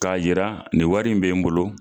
K'a yira nin wari in be n bolo